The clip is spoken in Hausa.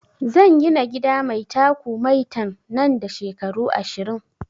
Zan gina gida mai taku maitan nan da shekaru ashirin